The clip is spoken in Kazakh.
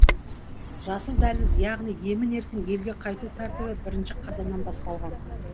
жасыл дәліз яғни емін еркін елге қайту тәртібі бірінші қазаннан басталған